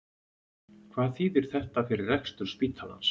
Hvað þýðir þetta fyrir rekstur spítalans?